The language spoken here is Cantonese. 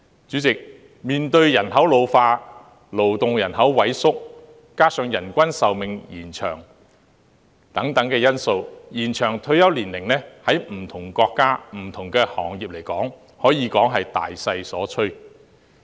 主席，面對人口老化及勞動人口萎縮，加上人均壽命延長等因素，延長退休年齡在不同國家及行業可以說是大勢所趨。